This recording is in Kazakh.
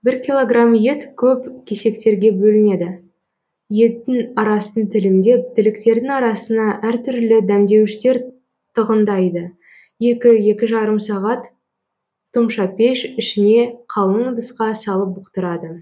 бір киллограмм ет көп кесектерге бөлінеді еттің арасын тілімдеп тіліктердің арасына әр түрлі дәмдеуіштер тығындайды екі екі жарым сағат тұмшапеш ішіне қалың ыдысқа салып бұқтырады